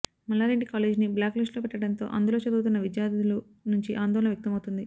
మల్లారెడ్డి కాలేజీని బ్లాక్ లిస్టులో పెట్టడంతో అందులో చదువుతున్న విద్యార్థుల నుంచి ఆందోళన వ్యక్తమవుతోంది